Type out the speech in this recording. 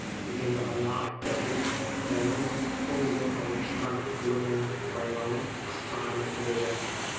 дегенді ғана айтты деп дәрмен бұл үйден алып шыққан ақылы мен байлауын қысқа ғана сөйледі